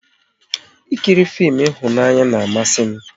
Ị kiri fim ịhụnanya na amasị m